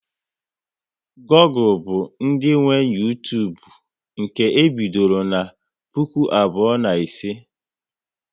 Google bụ ndị nwe Uytubu nke e bidoro na puku abụọ na ise